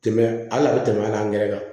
Tɛmɛ hali a tɛ tɛmɛ a gɛrɛ kan